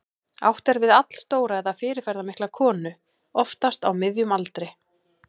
Átt er við allstóra eða fyrirferðarmikla konu, oftast á miðjum aldri.